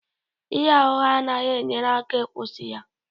Ịgha ụgha anaghị enyere aka, kwụsị ya